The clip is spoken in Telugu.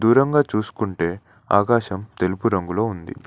దూరంగా చూసుకుంటే ఆకాశం తెలుపు రంగులో ఉంది.